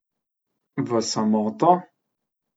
V samoto?